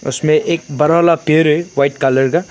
इसमें एक बरा वाला पेड़ है व्हाइट कलर का।